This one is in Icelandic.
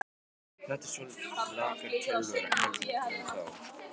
Þetta eru svolítið lakari tölur heldur en þá?